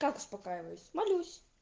как успокаиваюсь молюсь